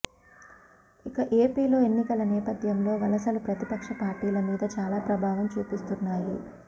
ఇక ఏపీలో ఎన్నికల నేపధ్యంలో వలసలు ప్రతిపక్ష పార్టీల మీద చాలా ప్రభావం చూపిస్తున్నాయి